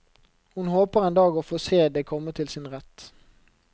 Hun håper en dag å få se det komme til sin rett.